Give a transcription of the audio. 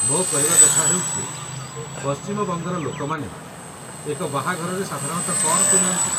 ମୋ କହିବା କଥା ହେଉଛି ପଶ୍ଚିମ ବଙ୍ଗର ଲୋକମାନେ ଏକ ବାହାଘରରେ ସାଧାରଣତଃ କ'ଣ ପିନ୍ଧନ୍ତି?